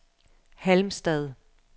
Halmstad